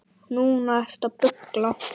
Núna ertu að bulla.